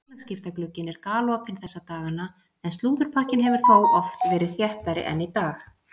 Félagsskiptaglugginn er galopinn þessa dagana en slúðurpakkinn hefur þó oft verið þéttari en í dag.